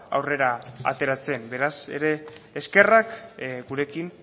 aurrera ateratzen beraz ere eskerrak gurekin